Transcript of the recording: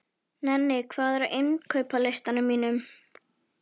Nenni, hvað er á innkaupalistanum mínum?